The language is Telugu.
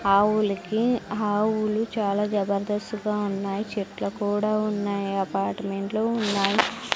ఆవులకీ ఆవులు చాలా జబర్దస్త్ గా ఉన్నాయి చెట్ల కూడా ఉన్నాయి అపార్ట్మెంట్లు ఉన్నాయి.